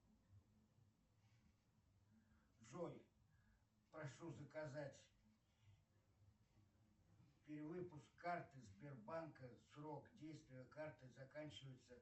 джой прошу заказать перевыпуск карты сбербанка срок действия карты заканчивается